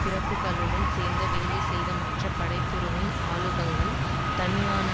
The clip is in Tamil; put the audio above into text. பிரபுக்களுடன் சேர்ந்து வேலைசெய்தது மற்றும் படை பிரிவின் அலகுகள் தலிபானின்